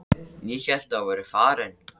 Ég hélt að þú værir farin.